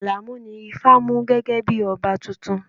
Alamu ni ifá mú gẹ́gẹ́ bí ọba tuntun